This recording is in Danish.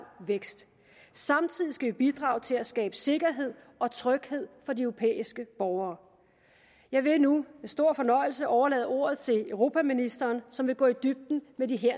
vækst samtidig skal vi bidrage til at skabe sikkerhed og tryghed for de europæiske borgere jeg vil nu med stor fornøjelse overlade ordet til europaministeren som vil gå i dybden med de